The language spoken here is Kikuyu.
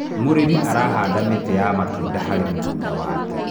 mũrĩmi arahanda mĩtĩ ya matunda harĩ mĩgũnda yake